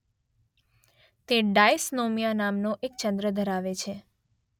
તે ડાયસ્નોમિયા નામનો એક ચંદ્ર ધરાવે છે.